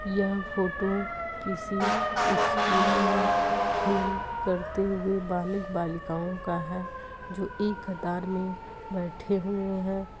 यह फोटो किसी स्कूल में खेल करते हुए बालक बालिकाओं का है जो एक कतार में बैठे हुए हैं।